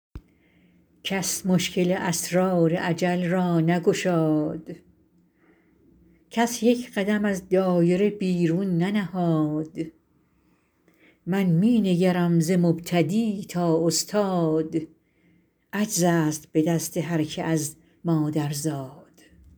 کس مشکل اسرار اجل را نگشاد کس یک قدم از دایره بیرون ننهاد من می نگرم ز مبتدی تا استاد عجز است به دست هرکه از مادر زاد